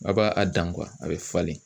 A b'a a dan a bɛ falen